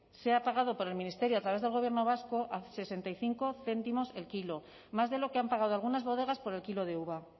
se ha pagado por el ministerio a través del gobierno vasco a sesenta y cinco céntimos el kilo más de lo que han pagado algunas bodegas por el kilo de uva